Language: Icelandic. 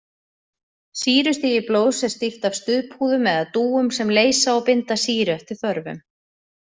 Sýrustigi blóðs er stýrt af stuðpúðum eða dúum sem leysa og binda sýru eftir þörfum.